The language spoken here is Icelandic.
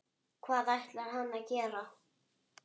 Hvað ætlar hann að gera?